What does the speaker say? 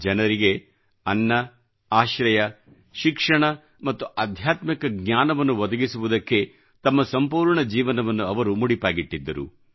ಜನರಿಗೆ ಅನ್ನ ಆಶ್ರಯ ಶಿಕ್ಷಣ ಮತ್ತು ಆಧ್ಯಾತ್ಮಿಕ ಜ್ಞಾನವನ್ನು ಒದಗಿಸುವುದಕ್ಕೇ ತಮ್ಮ ಸಂಪೂರ್ಣ ಜೀವನವನ್ನು ಅವರು ಮುಡಿಪಾಗಿಟ್ಟಿದ್ದರು